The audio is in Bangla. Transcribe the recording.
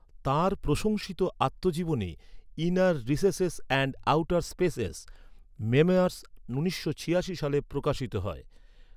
তাঁর প্রশংসিত আত্মজীবনী, inner recesses and outer spaces, memoirs, উনিশশো ছিয়াশি সালে প্রকাশিত হয়।